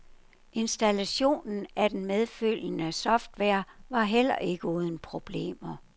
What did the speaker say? Installationen af den medfølgende software var heller ikke uden problemer.